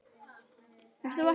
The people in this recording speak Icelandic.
Hann fer til Kidda og Ragga.